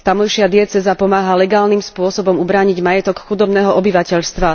Tamojšia diecéza pomáha legálnym spôsobom ubrániť majetok chudobného obyvateľstva.